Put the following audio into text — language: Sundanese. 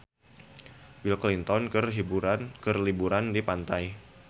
Bill Clinton keur liburan di pantai